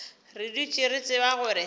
re dutše re tseba gore